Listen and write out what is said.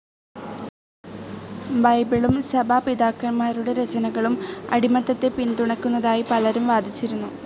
ബൈബിളും സഭാപിതാക്കൻമാരുടെ രചനകളും അടിമത്തത്തെ പിൻതുണക്കുന്നതായി പലരും വാദിച്ചിരുന്നു.